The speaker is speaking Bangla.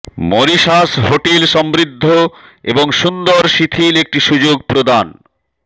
মরিশাস হোটেল সমৃদ্ধ এবং সুন্দর শিথিল একটি সুযোগ প্রদান